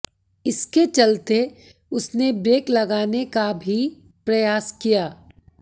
इसके चलते उसने ब्रेक लगाने का भी प्रयास किया